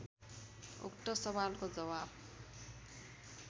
उक्त सवालको जवाफ